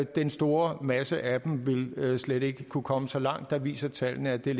den store masse af dem vil slet ikke kunne komme så langt der viser tallene at det er